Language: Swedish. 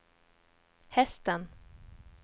hästen